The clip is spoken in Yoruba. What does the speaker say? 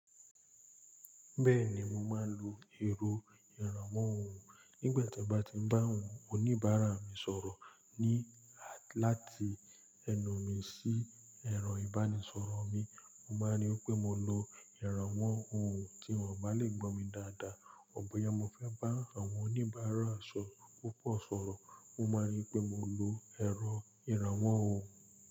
Bẹ́ẹ̀ni mo máa n lo èrọ ìrànwọ́ ohùn nígbàtí bá ti bá àwọn oníbàárà mi sọ̀rọ̀̀ ní láti ẹnu mi sí ẹran ìbánisọ̀rọ̀ mi. Mo máa rí pé mo lo ìrànwọ́ ohùn, tí wọ́n bá lè gbọ̀ mí dáadáa. Bọya mo fẹ́ bá àwọn oníbàárà sọ̀ púpọ̀ sọ̀rọ̀, mo máa rí pé mo lo erọ̀ ìrànwọ́ ohùn.